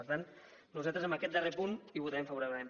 per tant nosaltres en aquest darrer punt hi votarem favorablement